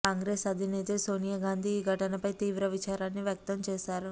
కాంగ్రెస్ అధినేత్రి సోనియా గాంధీ ఈ ఘటనపై తీవ్ర విచారాన్ని వ్యక్తం చేశారు